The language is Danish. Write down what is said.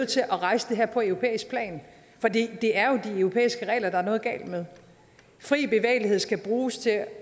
til at rejse det her på europæisk plan for det det er jo de europæiske regler der er noget galt med fri bevægelighed skal bruges til at